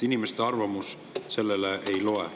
Inimeste arvamus selle juures ei loe.